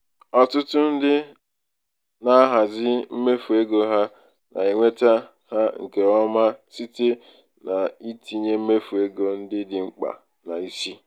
ọtụtụ ndị na-ahazi mmefu ego ha na-enweta ha nke ọma ọma site n'itinye mmefu ego ndị dị mkpa n'isi.